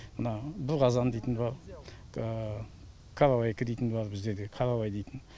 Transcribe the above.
мына бірқазан дейтіні бар қаравайка дейтіні бар біздерде каравай дейтін